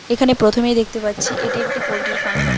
এখানে প্রথমেই দেখতে পাচ্ছি এটি একটি পোল্ট্রির ফার্ম ।